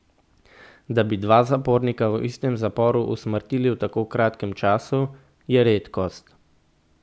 Da bi dva zapornika v istem zaporu usmrtili v tako kratkem času, je redkost.